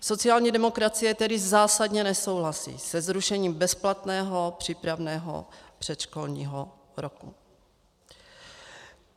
Sociální demokracie tedy zásadně nesouhlasí se zrušením bezplatného přípravného předškolního roku.